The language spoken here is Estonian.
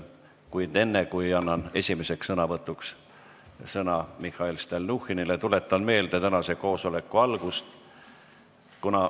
Kuid enne, kui annan esimeseks sõnavõtuks sõna Mihhail Stalnuhhinile, tuletan meelde tänase istungi algust.